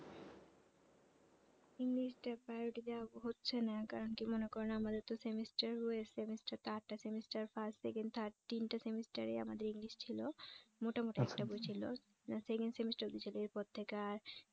english টা priority দেওয়া হচ্ছে না কারন কি মনে করেন আমাদের তো semester way semester টা আটটা semester first second third তিনটা semester এ আমাদের english ছিল মোটামোটা একটা বই ছিল যার second semester বলেছিলো এর পর থেকে আর